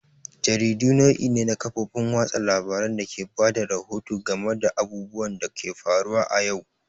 Jaridu nau'i ne na kafofin watsa labarun dake bada rahoto game da abubuwan da ke faruwa a yau.